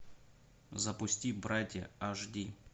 запусти братья аш ди